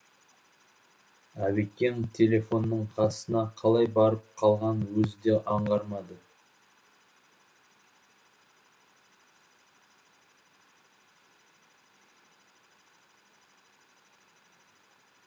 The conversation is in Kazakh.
әбекең телефонның қасына қалай барып қалғанын өзі де аңғармады